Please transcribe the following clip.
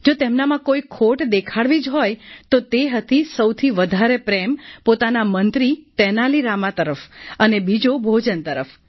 જો તેમનામાં કોઈ ખોટ દેખાડવી જ હોય તો તે હતી સૌથી વધારે પ્રેમ પોતાના મંત્રી તેનાલી રામા તરફ અને બીજો ભોજન તરફ